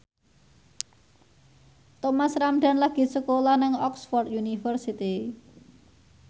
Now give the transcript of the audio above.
Thomas Ramdhan lagi sekolah nang Oxford university